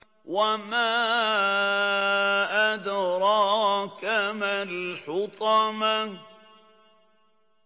وَمَا أَدْرَاكَ مَا الْحُطَمَةُ